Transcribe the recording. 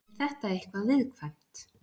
Er þetta eitthvað viðkvæmt?